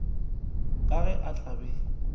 ka ge a tla be